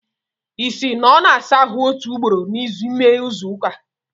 Isi! na ọ na-asa ahụ otu ugboro n'ime izu ụka?